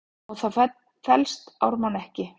Á það fellst Ármann ekki.